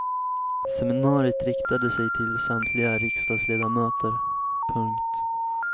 Seminariet riktade sig till samtliga riksdagsledamöter. punkt